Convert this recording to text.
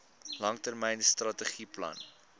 langtermyn strategiese plan